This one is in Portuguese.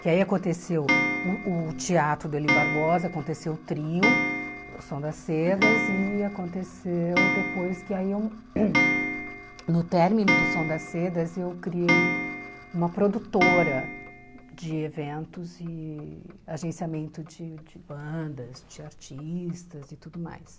Que aí aconteceu o o teatro do Eli Barbosa, aconteceu o trio, o Som das Cedas e aconteceu depois que eu hum aí no término do Som das Cedas eu criei uma produtora de eventos e agenciamento de de bandas, de artistas e tudo mais.